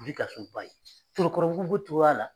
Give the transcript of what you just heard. bɛ ka sunba ye Torokɔrɔbugu b'o cogoya la.